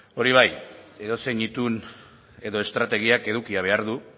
hori bai edozein itun edo estrategiak edukia behar du